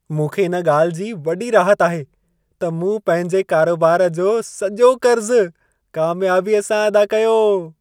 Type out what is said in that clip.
मूंखे इन ॻाल्हि जी वॾी राहत आहे, त मूं पंहिंजे कारोबार जो सॼो कर्ज़ु कामियाबीअ सां अदा कयो।